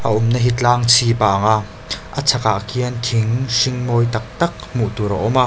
a awmna hi tlang chhip a ang a a chhakah khian thing hring mawi tak tak hmuh tur a awm a.